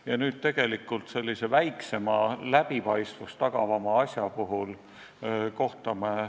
Ja nüüd me tegelikult kohtame sedasama väiksema, läbipaistvust tagava asja puhul.